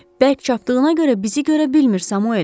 Bərk çapdığına görə bizi görə bilmir, Samuel.